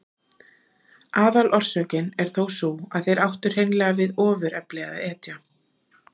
Aðalorsökin er þó sú að þeir áttu hreinlega við ofurefli að etja.